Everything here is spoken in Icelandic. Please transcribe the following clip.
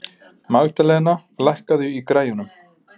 Magðalena, lækkaðu í græjunum.